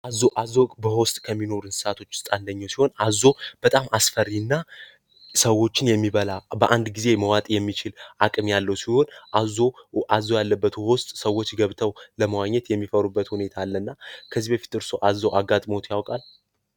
አዞ በውሃ በወስጥ ከሚኖር እንስሳቶች ውስጣንደኞ ሲሆን አዞ በጣም አስፈሪ እና ሰዎችን የሚበላ በአንድ ጊዜ መዋጤ የሚችል አቅሚ ያለው ሲሆን አዞ ያለበት ወስጥ ሰዎች ገብተው ለመዋኘት የሚፈሩበት ሁኔታ ለ እና ከዚ በፊት እርስው አዞ አጋጥሞት ያውቃል?